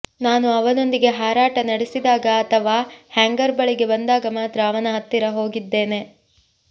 ನಾನು ಅವನೊಂದಿಗೆ ಹಾರಾಟ ನಡೆಸಿದಾಗ ಅಥವಾ ಹ್ಯಾಂಗರ್ ಬಳಿಗೆ ಬಂದಾಗ ಮಾತ್ರ ಅವನ ಹತ್ತಿರ ಹೋಗಿದ್ದೇನೆ